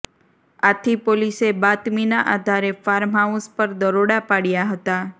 આથી પોલીસે બાતમીના આધારે ફાર્મહાઉસ પર દરોડા પાડ્યા હતા